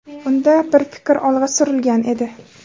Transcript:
Unda bir fikr olg‘a surilgan edi.